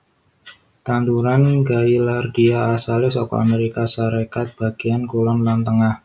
Tanduran gaillardia asalé saka Amérika Sarékat bagéyan kulon lan tengah